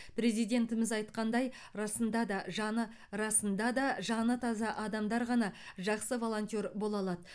президентіміз айтқандай расында да жаны расында да жаны таза адамдар ғана жақсы волонтер бола алады